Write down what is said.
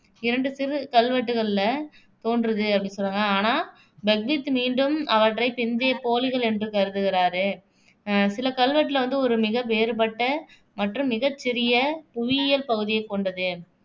இரண்டு சிறு கல்வெட்டுகளில தோன்றுது அப்படின்னு சொல்லுவாங்க ஆனா பெக்வித் மீண்டும் அவற்றைப் பிந்தைய போலிகள் என்று கருதுகிறாரு அஹ் சிலறு கல்வெட்டுல வந்து ஒரு மிக வேறுபட்ட மற்றும் மிகச் சிறிய புவியியல் பகுதியைக் கொண்டது